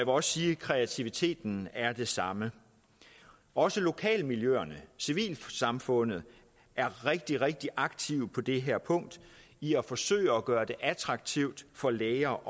også sige at kreativiteten er det samme også lokalmiljøerne og civilsamfundet er rigtig rigtig aktive på det her punkt i at forsøge at gøre det attraktivt for læger